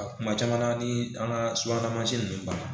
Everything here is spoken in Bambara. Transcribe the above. A kuma caman na ni an ka subahana mansin ninnu banna